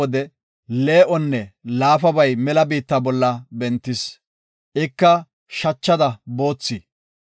Akay, xiz7ida wode lee7onne laafabay mela biitta bolla bentis. Ika shachada boothi.